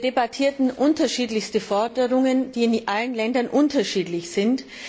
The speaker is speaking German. Wir debattierten unterschiedlichste Forderungen, die in allen Ländern unterschiedlich sind.